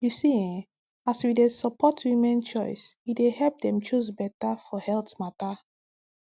you see eh as we dey support women choice e dey help dem choose beta for health matter